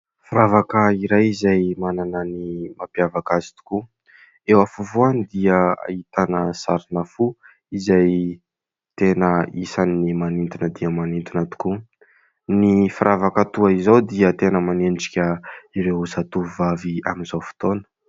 Firavaka iray izay manana ny mampiavaka azy tokoa. Eo afovoany dia ahitana sarina fo izay tena isan'ny manintona dia manintona tokoa. Ny firavaka toa izao dia tena manendrika ireo zatovovavy amin'izao fotoana.